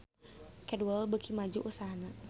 Cadwell beuki maju usahana